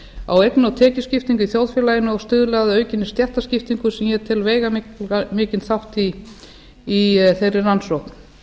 á eigna og tekjuskiptingu í þjóðfélaginu og stuðli að aukinni stéttaskiptingu sem ég tel veigamikinn þátt í þeirri rannsókn